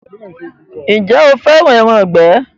Ǹjẹ́ o fẹ́ràn “ẹran ìgbẹ̀”.